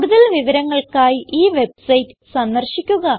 കൂടുതൽ വിവരങ്ങൾക്കായി ഈ വെബ്സൈറ്റ് സന്ദർശിക്കുക